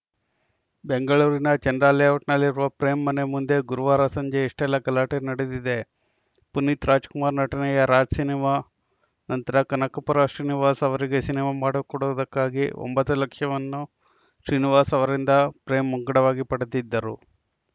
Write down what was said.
ಬೆಂಗಳೂರಿನ ಚಂದ್ರಲೇಔಟ್‌ನಲ್ಲಿರುವ ಪ್ರೇಮ್‌ ಮನೆ ಮುಂದೆ ಗುರುವಾರ ಸಂಜೆ ಇಷ್ಟೆಲ್ಲ ಗಲಾಟೆ ನಡೆದಿದೆ ಪುನೀತ್‌ ರಾಜ್‌ಕುಮಾರ್‌ ನಟನೆಯ ರಾಜ್‌ ಸಿನಿಮಾ ನಂತರ ಕನಕಪುರ ಶ್ರೀನಿವಾಸ್‌ ಅವರಿಗೆ ಸಿನಿಮಾ ಮಾಡಿಕೊಡುವುದಕ್ಕಾಗಿ ಒಂಬತ್ತು ಲಕ್ಷವನ್ನು ಶ್ರೀನಿವಾಸ್‌ ಅವರಿಂದ ಪ್ರೇಮ್‌ ಮುಂಗಡವಾಗಿ ಪಡೆದಿದ್ದರು